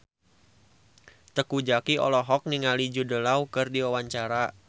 Teuku Zacky olohok ningali Jude Law keur diwawancara